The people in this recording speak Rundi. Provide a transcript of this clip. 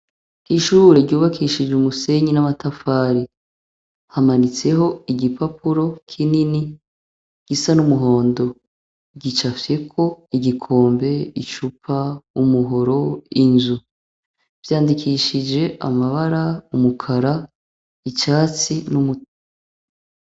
Ishure ryubakishije umusenyi n'amatafari hamanitseho igipapuro kinini gisa n'umuhondo gicafyeko igikombe icupa, umuhoro, inzu vyandikishije amabara umukara icyatsi n'umutu.